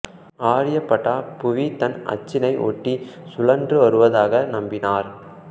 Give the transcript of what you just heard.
ஆர்யபட்டா புவி தன் அச்சினை ஒட்டி சுழன்று வருவதாக நம்பினார்